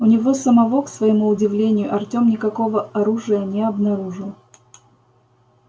у него самого к своему удивлению артем никакого оружия не обнаружил